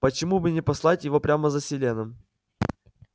почему бы не послать его прямо за селеном